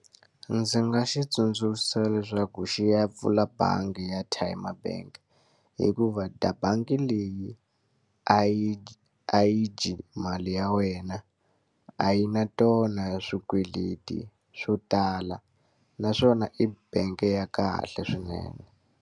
Ndzi nga xi tsundzuxa leswaku xi ya pfula bangi ya Tyme Bank. Hikuva bangi leyi a yi a yi dyi mali ya wena, a yi na tona swikweleti swo tala. Naswona i bangi ya kahle swinene.